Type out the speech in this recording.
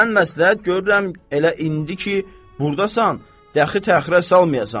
Mən məsləhət görürəm, elə indi ki burdasan, dəxi təxirə salmayasan.